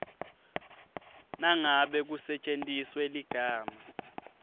nangabe kusetjentiswe ligama